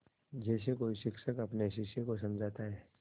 जैसे कोई शिक्षक अपने शिष्य को समझाता है